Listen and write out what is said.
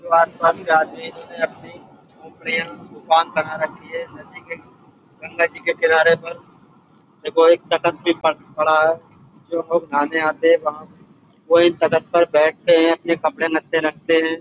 जो आसपास के आदमी हैं इन्होंने अपनी झोपड़ियाँ दुकान बना रखी हैं नदी के गंगा जी किनारे पर। देखो एक तखत भी पड़ पड़ा है। जो लोग नहाने आते हैं वहाँ वो इन तख्त पर बैठते हैं अपने कपड़े लत्ते रखते हैं।